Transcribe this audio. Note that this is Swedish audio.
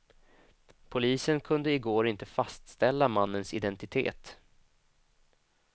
Polisen kunde i går inte fastställa mannens identitet.